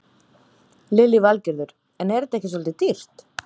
Lillý Valgerður: En er þetta ekki svolítið dýrt?